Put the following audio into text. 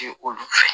Olu fɛ